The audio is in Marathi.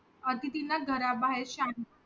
अतिथींना घरा बाहेर शांत